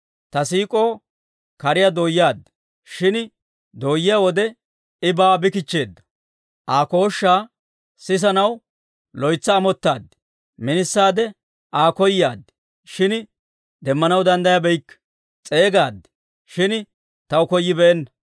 Ta siik'oo kariyaa dooyaad; shin dooyiyaa wode I baawa bi kichcheedda. Aa kooshshaa sisanaw loytsi amottaad. Mintsaade Aa koyaad; shin demmanaw danddayabeykke. S'eegaad; shin taw koyibeenna.